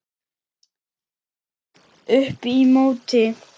Upp í móti.